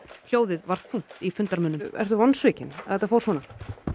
hljóðið var þungt í fundarmönnum ertu vonsvikinn að þetta fór svona